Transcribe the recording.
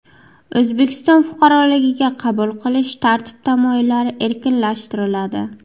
O‘zbekiston fuqaroligiga qabul qilish tartib-taomillari erkinlashtiriladi.